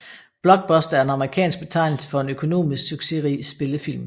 Blockbuster er en amerikansk betegnelse for en økonomisk succesrig spillefilm